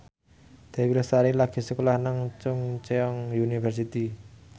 Dewi Lestari lagi sekolah nang Chungceong University